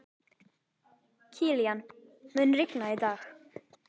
Kilían, mun rigna í dag?